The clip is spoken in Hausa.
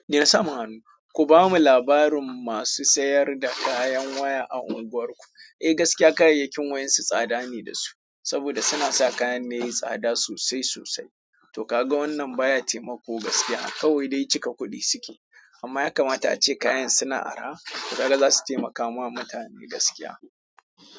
Dena saman hannu, kubamu labarin masu sayar da kayan waya a anguwark. Eh, gaskiya kayayyakin wayan su tsada ne da su saboda suna sa kayan ne yayi tsada sosai sosai. To ka ga wannan baya taimako gaskiya. Kawai dai cika kuɗi suke amma ya kamata ace kayan suna arha to kaga za su taimakawa mutane gaskiya.